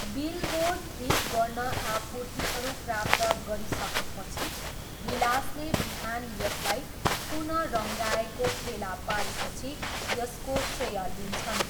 Billboard ठिक गर्न आपूर्तिहरू प्राप्त गरिसकेपछि, विलासले बिहान यसलाई पुनः रङ्गाइएको फेला पारेपछि यसको श्रेय लिन्छन्।